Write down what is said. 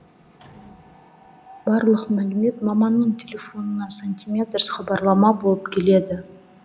барлық мәлімет маманның телефонына сантиметрс хабарлама болып келеді